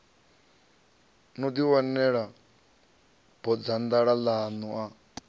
no ḓiwanela bodzanḓala ḽaṋu a